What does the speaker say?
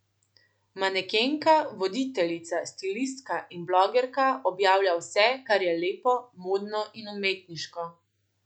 Manekenka, voditeljica, stilistka in blogerka objavlja vse, kar je lepo, modno in umetniško.